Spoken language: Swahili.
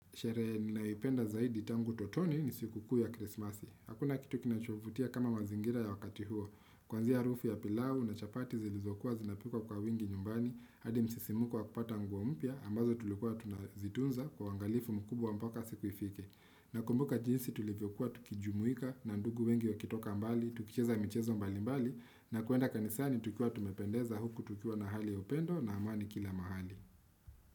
Sherehe naipenda zaidi tangu utotoni ni siku kuu ya krismasi. Hakuna kitu kinachovutia kama mazingira ya wakati huo. Kuanzia rufu ya pilau na chapati zilizokuwa zinapikuwa kwa wingi nyumbani. Hadi msisimuko wa kupata nguo mpia ambazo tulikuwa tunazitunza kwa uwangalifu mkubwa mpaka siku ifike. Nakumbuka jinsi tulivyokuwa tukijumuika na ndugu wengi wakitoka mbali, tukicheza michezo mbali mbali na kuenda kanisani tukuwa tumependeza huku tukua na hali ya upendo na amani kila mahali.